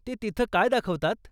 ते तिथं काय दाखवतात?